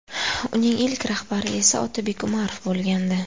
Uning ilk rahbari esa Otabek Umarov bo‘lgandi.